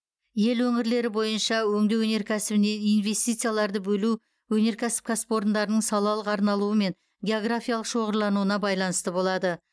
ел өңірлері бойынша өңдеу өнеркәсібіне инвестицияларды бөлу өнеркәсіп кәсіпорындарының салалық арналуы мен географиялық шоғырлануына байланысты болады